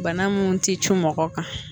Bana mun ti cu mɔgɔ kan